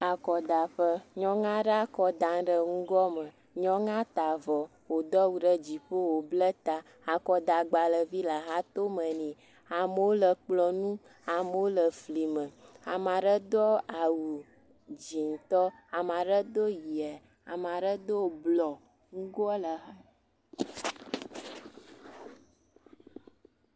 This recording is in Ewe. akɔdaƒe nyɔŋuaɖe akɔda ɖe ŋugoa me nyɔŋua ta'vɔ wò dɔwu ɖe dziƒo wò bla ta akɔda gbãlevi le hatóme nɛ amewo le kplɔ̃ nu amewo le fli me amaɖe dɔ awu dzĩtɔ amaɖe dó yia amaɖe dó blɔ ŋugoa le a...